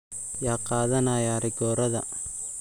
Yaa qaadanaya rigoorada?